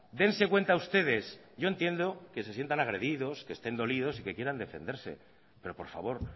dense cuenta ustedes yo entiendo que se sientan agredidos que estén dolidos y que quieran defenderse pero por favor